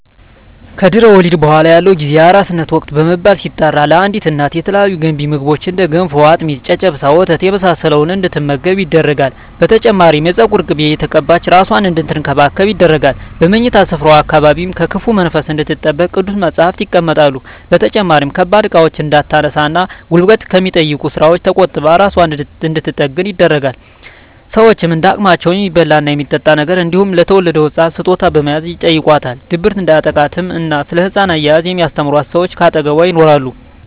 ከድህረ ወሊድ በኃላ ያለው ጊዜ የአራስነት ወቅት በመባል ሲጠራ ለአዲስ እናት የተለያዩ ገንቢ ምግቦች እንደ ገንፎ፣ አጥሚት፣ ጨጨብሳ፣ ወተት የመሳሰለውን እንድትመገብ ይደረጋል። በተጨማሪም የፀጉር ቅቤ እየተቀባች እራሷን አንድትንከባከብ ይደረጋል። በምኝታ ስፍራዋ አካባቢም ከክፉ መንፈስ እንድትጠበቅ ቅዱሳት መፀሃፍት ይቀመጣሉ። በተጨማሪም ከባድ እቃዎችን እንዳታነሳ እና ጉልበት ከሚጠይቁ ስራወች ተቆጥባ እራሷን እንድንትጠግን ይደረጋል። ሸወችም እንደ አቅማቸው የሚበላ እና የሚጠጣ ነገር እንዲሁም ለተወለደዉ ህፃን ስጦታ በመያዝ ይጨይቋታል። ድብርት እንዲያጠቃትም እና ስለ ህፃን አያያዝ የሚስተምሯት ሰወች ከአጠገቧ ይኖራሉ።